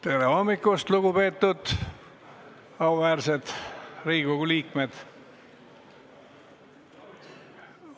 Tere hommikust, lugupeetud auväärsed Riigikogu liikmed!